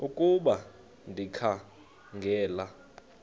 ukuba ndikha ngela